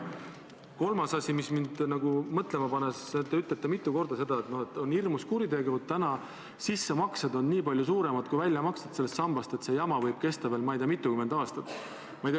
Kolmas asi, mis mind mõtlema paneb: te olete mitu korda öelnud, et on hirmus kuritegu, et sissemaksed on praegu väljamaksetest nii palju suuremad ja et see jama võib kesta veel, ma ei tea, mitukümmend aastat.